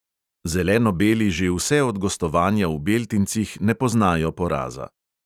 Zeleno-beli že vse od gostovanja v beltincih ne poznajo poraza.